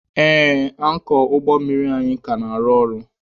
Ee, ankọọ ụgbọ mmiri anyị ka na-arụ ọrụ.